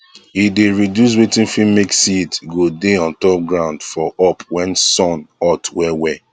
e dey reduce watin fit make seed go dey on top ground for up when sun hot well well